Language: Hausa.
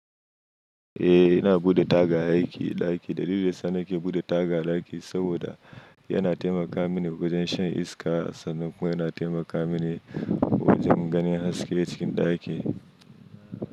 Eh, ina buɗe taga a ɗaki. Dalilin da sani ke buɗe taga a ɗaki saboda yana taimaka mini wajen shan iska, sannan kuma yana taimaka mini wajen ganin haske cikin ɗakin.